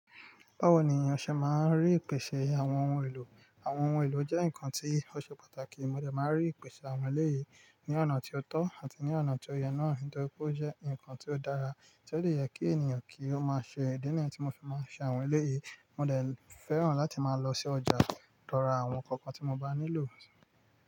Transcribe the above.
Báwo ni ìyàńṣẹ́ máa ń rí ìpèsè àwọn ohun èlò? Àwọn ohun èlò jẹ́ nǹkan tí ó ṣe pàtàkì. Mo lè máa rí ìpèsè àwọn eléyìí ní ọ̀nà tí ó tọ́ àti ní ọ̀nà tí ó yẹ náà. Nítorí pé ó jẹ́ ǹkan tí ó dára, tí ó lè yẹ kí ènìyàn kí ó máa ṣe. Ní ìdí nìyí tí mo fi máa ń ṣe àwọn eléyìí, mo lè fẹ́ràn láti máa lọ sí ọjà dọ́ra àwọn nkankan tí mo bá nílò.